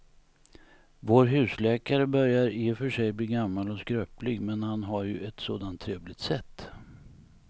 Vår husläkare börjar i och för sig bli gammal och skröplig, men han har ju ett sådant trevligt sätt!